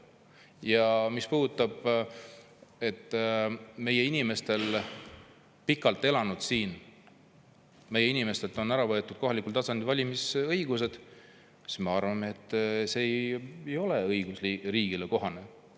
Ja mis puudutab seda, et pikalt siin elanud inimestelt on ära võetud kohalikul tasandil valimisõigus, siis ma arvan, et see ei ole õigusriigile kohane.